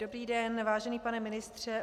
Dobrý den, vážený pane ministře.